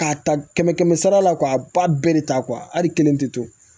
K'a ta kɛmɛ kɛmɛ sara la k'a ba bɛɛ de ta hali kelen tɛ to